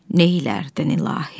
neylərdin, ilahi?